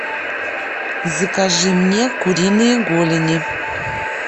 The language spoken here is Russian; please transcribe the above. закажи мне куриные голени